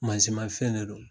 Mansinmafɛn de don